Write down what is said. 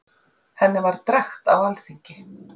henni var drekkt á alþingi